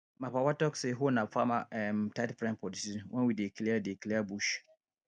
my papa talk say hoe na farmer um tight friend for di season wen we dey clear dey clear bush